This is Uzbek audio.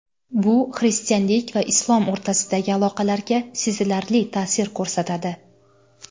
Bu xristianlik va islom o‘rtasidagi aloqalarga sezilarli ta’sir ko‘rsatadi.